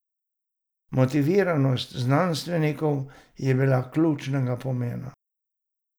Motiviranost znanstvenikov je bila ključnega pomena.